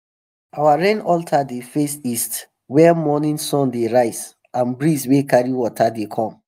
our rain altar dey face east where morning sun dey rise and breeze wey carry water dey come.